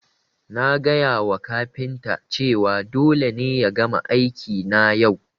Na gaya wa kafinta cewa dole ne ya gama aiki na yau